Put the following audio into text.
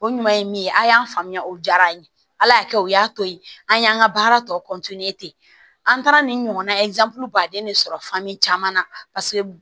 O ɲuman ye min ye a y'an faamuya o jara an ye ala y'a kɛ o y'a to ye an y'an ka baara tɔ an taara nin ɲɔgɔnna baden de sɔrɔ caman na paseke